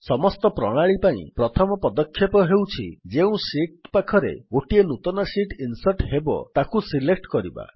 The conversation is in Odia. ସମସ୍ତ ପ୍ରଣାଳୀ ପାଇଁ ପ୍ରଥମ ପଦକ୍ଷେପ ହେଉଛି ଯେଉଁ ଶୀଟ୍ ପାଖରେ ନୂତନ ଶୀଟ୍ ଇନ୍ସର୍ଟ୍ ହେବ ତାକୁ ସିଲେକ୍ଟ୍ କରିବା